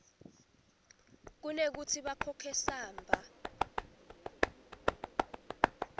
kunekutsi bakhokhe samba